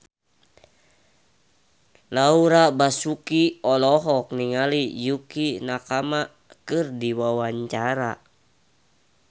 Laura Basuki olohok ningali Yukie Nakama keur diwawancara